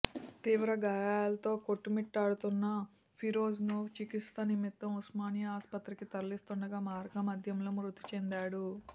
తీవ్ర గాయాలతో కొట్టుమిట్టాడుతున్న ఫిరోజ్ను చికిత్స నిమిత్తం ఉస్మానియా ఆసుపత్రికి తరలిస్తుండగా మార్గమద్యలో మృతిచెందాడు